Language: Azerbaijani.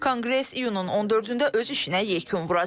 Konqres iyunun 14-də öz işinə yekun vuracaq.